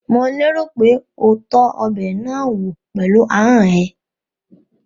Mò lérò pé o tọ́ ọbẹ̀ náà wò pẹ̀lú ahọ́n ẹ?